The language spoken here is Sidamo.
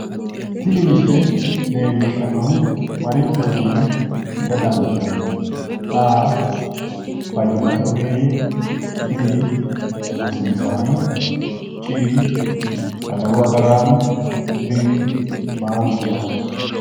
Tini misile leellishshannohu marichooti yine heda dandiinanni? a) fayyimmate ogeeyye b) rosiisaano c) adawu agaraano d) baalunku dawarote